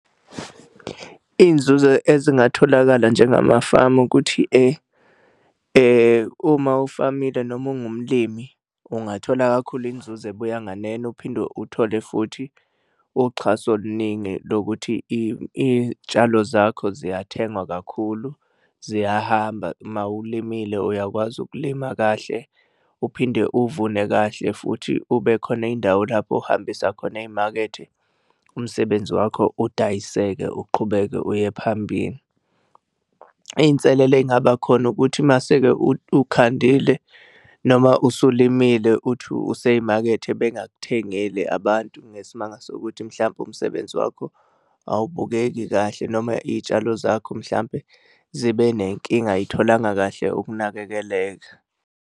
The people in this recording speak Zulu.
Iy'nzuzo ezingatholakala njengamafamu ukuthi uma ufamile noma ungumlimi ungathola kakhulu inzuzo ebuya nganeno, uphinde uthole futhi uxhaso oluningi lokuthi iy'tshalo zakho ziyathengwa kakhulu ziyahamba uma ulimile uyakwazi ukulima kahle uphinde uvune kahle futhi kube khona indawo lapho ohambisa khona ey'makethe. Umsebenzi wakho udayiseke, uqhubeke uye phambili. Iy'nselelo ey'ngaba khona ukuthi mase-ke ukhandile noma usulimele uthi usey'makethe bengakuthengeli abantu ngesimanga sokuthi mhlampe umsebenzi wakho awubukeki kahle noma iy'tshalo zakho mhlampe zibe nenkinga, ay'tholanga kahle ukunakekeleka.